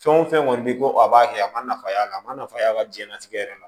Fɛn o fɛn kɔni bi ko a b'a kɛ a ma nafa y'a la a ma nafa y'a ka diɲɛnatigɛ yɛrɛ la